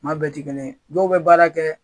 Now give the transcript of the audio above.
Maa bɛɛ tɛ kelen yen. Dɔw bɛ baara kɛ.